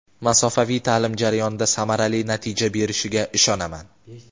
masofaviy taʼlim jarayonida samarali natija berishiga ishonaman.